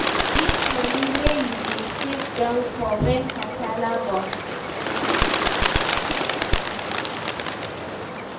Get money wey you dey save down for when kasala burst